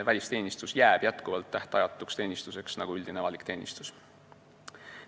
Välisteenistus jääb ikka tähtajatuks teenistuseks nagu üldine avalik teenistus.